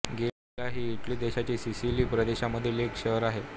गेला हे इटली देशाच्या सिसिली प्रदेशामधील एक शहर आहे